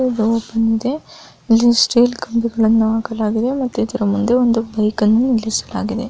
ಇಲ್ಲಿ ಸ್ಟಿಲ್ ಕಂಬಗಳನ್ನ ಹಾಕಲಾಡಿದೆ ಇದರ ಮುಂದೆ ಬೈಕ್ ಅನ್ನ ನಿಲ್ಲಿಸಲಾಗಿದೆ.